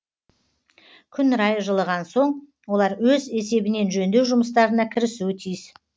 күн райы жылыған соң олар өз есебінен жөндеу жұмыстарына кірісуі тиіс